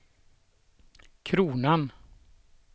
kronan